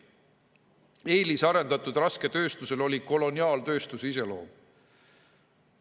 Eelisarendatud rasketööstusel oli koloniaaltööstuse iseloom.